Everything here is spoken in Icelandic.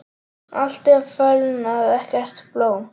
Allt er fölnað, ekkert blóm.